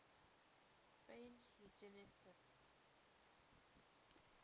french eugenicists